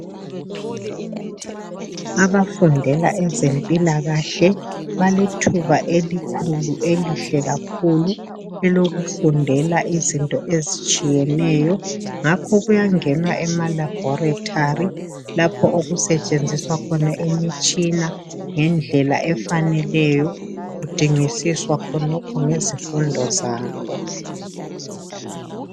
Abafundela ezempilakahle, balethuba elikhulu elihle kakhulu elokufundela izinto ezisthiyeneyo, ngakho kuyangenwa emalabhorethari, lapho okusetshenziswa khona imitshina ngendlela efaneleyo, kudingisiswa khonokho ngezifundo sabo.